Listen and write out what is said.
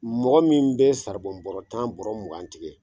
Mɔgɔ min bɛ saribɔn bɔrɔ tan bɔrɔ mugan tigɛ.